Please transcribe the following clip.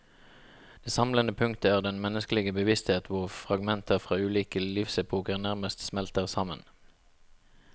Det samlende punktet er den menneskelige bevissthet hvor fragmenter fra ulike livsepoker nærmest smelter sammen.